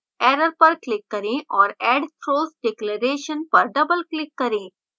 error पर click करें और add throws declaration पर double click करें